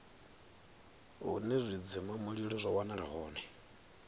hune zwidzimamulilo zwa wanala hone